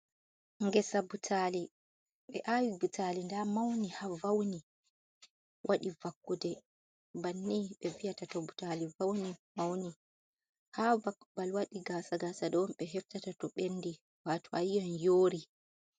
Ngeesa butali ɓe awi butali nda mauni ha vauni waɗi vakude bannin ɓe vi’ata to butali vauni mauni ha vak babal waɗi gasa gasa ɗo on ɓe heftata to ɓendi wato a yiyan yori.